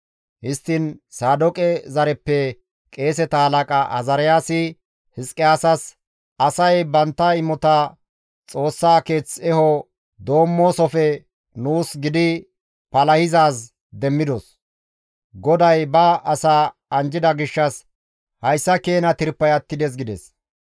Histtiin Saadooqe zareppe qeeseta halaqa Azaariyaasi Hizqiyaasas, «Asay bantta imota Xoossaa keeth eho doommoosofe nuus gidi palahizaaz demmidos; GODAY ba asaa anjjida gishshas hayssa keena tirpay attides» gides.